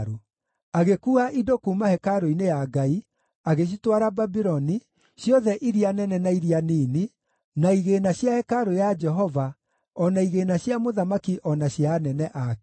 Agĩkuua indo kuuma hekarũ-inĩ ya Ngai, agĩcitwara Babuloni, ciothe iria nene na iria nini, na igĩĩna cia hekarũ ya Jehova, o na igĩĩna cia mũthamaki o na cia anene ake.